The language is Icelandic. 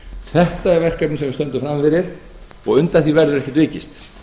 þetta er verkefnið sem við stöndum frammi fyrir og undan því verður ekki vikist